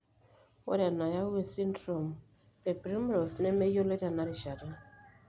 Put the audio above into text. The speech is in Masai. Ore enayau esindirom eprimrose nemeyioloi tenarishata.